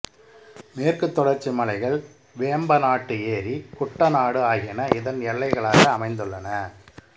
மேற்குத் தொடர்ச்சி மலைகள் வேம்பநாட்டு ஏரி குட்டநாடு ஆகியன இதன் எல்லைகளாக அமைந்துள்ளன